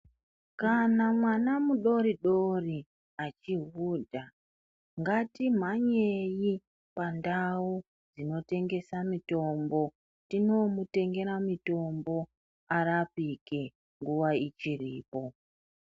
Kana mwana mudoridori achihudha ngatimhanyei pandau dzinotengese mitombo tinoomutengera mitombo arapike nguwa ichiripo.